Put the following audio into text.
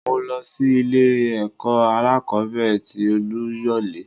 Mo lọ sí ilé ẹ̀kọ́ alákòbẹ̀rẹ̀ tì Oluyole.